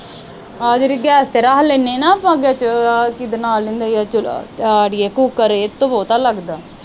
ਆ ਜਿਹੜੀ ਗੈਸ ਤੇ ਰੱਖ ਲੈਣੇ ਨਾ ਆਪਾ ਵਿਚ ਆਹ ਕੀਦਾ ਨਾ ਲੈਂਦੇ ਈ ਓ ਅੜੀਏ ਕੂਕਰ ਇਹ ਤੋਂ ਬਹੁਤਾ ਲੱਗਦਾ।